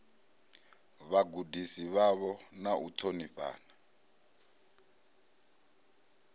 vhagudisi vhavho na u ṱhonifhana